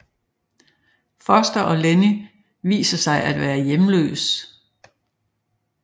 Foster og Lenny viser sig at være hjemløs